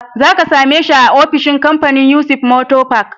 Za ka same shi a ofishin kamfanin Yusuf motor park.